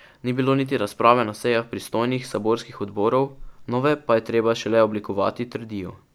Ni bilo niti razprave na sejah pristojnih saborskih odborov, nove pa je treba šele oblikovati, trdijo.